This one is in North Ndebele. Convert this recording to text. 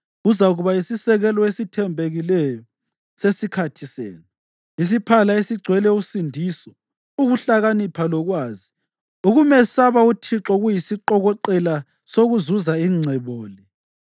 Uzakuba yisisekelo esithembekileyo sesikhathi senu, isiphala esigcwele usindiso, ukuhlakanipha lokwazi; ukumesaba uThixo kuyisiqokoqela sokuzuza ingcebo le.